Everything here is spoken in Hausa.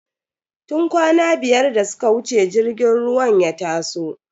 Tun kwana biyar da suka wuce jirgin ruwan ya taso.